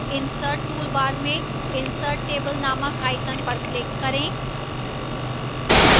insert toolbar में insert table named icon पर click करें